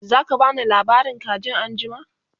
zaka bani labarin kajin anjima?